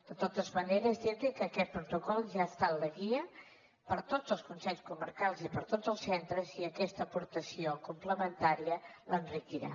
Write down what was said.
de totes maneres dir li que aquest protocol ja està en la guia per a tots els consells comarcals i per a tots els centres i aquesta aportació complementària l’enriquirà